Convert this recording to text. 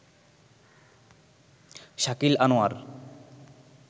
Shakil Anwar